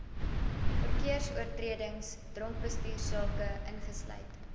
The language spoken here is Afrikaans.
verkeersoortredings dronkbestuursake ingesluit